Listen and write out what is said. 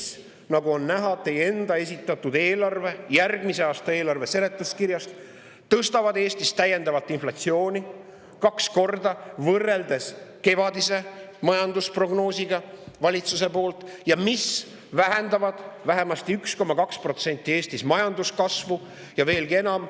Need, nagu on näha teie enda esitatud järgmise aasta eelarve seletuskirjast, tõstavad täiendavalt Eestis inflatsiooni kaks korda võrreldes valitsuse kevadise majandusprognoosiga ja vähendavad Eestis majanduskasvu vähemasti 1,2% ja veelgi enam.